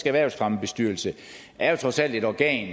erhvervsfremmebestyrelse er jo trods alt et organ